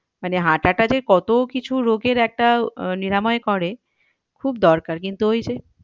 মানে হাঁটাটা যে কত কিছু রোগের একটা আহ নিরাময় করে কিন্তু ওই যে,